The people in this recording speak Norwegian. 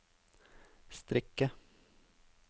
strikke